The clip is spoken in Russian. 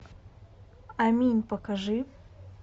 амин покажи